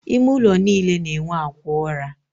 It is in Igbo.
Ime ụlọ niile na-enwe akwa ụra.